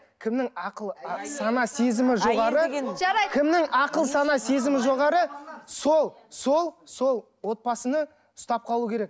кімнің ақылы сана сезімі жоғары кімнің ақыл сана сезімі жоғары сол сол сол отбасыны ұстап қалуы керек